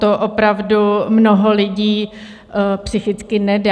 To opravdu mnoho lidí psychicky nedá.